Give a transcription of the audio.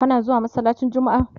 kana zuwa masallacin jummma?